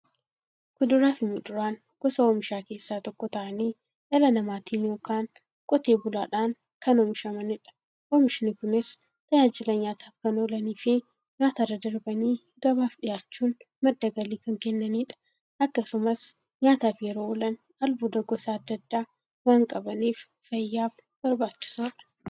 Kuduraafi muduraan gosa oomishaa keessaa tokko ta'anii, dhala namaatin yookiin Qotee bulaadhan kan oomishamaniidha. Oomishni Kunis, tajaajila nyaataf kan oolaniifi nyaatarra darbanii gabaaf dhiyaachuun madda galii kan kennaniidha. Akkasumas nyaataf yeroo oolan, albuuda gosa adda addaa waan qabaniif, fayyaaf barbaachisoodha.